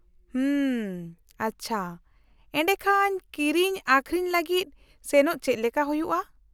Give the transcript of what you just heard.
-ᱦᱩᱢ, ᱟᱪᱪᱷᱟ, ᱮᱰᱮᱠᱷᱟᱱ ᱠᱤᱨᱤᱧ ᱟᱹᱠᱷᱨᱤᱧ ᱞᱟᱹᱜᱤᱫ ᱥᱮᱱᱚᱜ ᱪᱮᱫ ᱞᱮᱠᱟ ᱦᱩᱭᱩᱭᱼᱟ ?